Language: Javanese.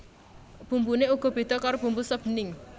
Bumbuné uga béda karo bumbu sop bening